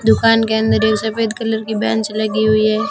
दुकान के अंदर एक सफेद कलर की बेंच लगी हुईं हैं।